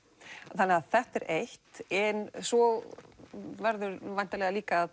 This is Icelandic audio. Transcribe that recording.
þannig þetta er eitt en svo verður væntanlega líka að